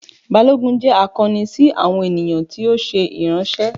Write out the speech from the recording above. Balogun jẹ akọni si awọn eniyan ti o ṣe iranṣẹ.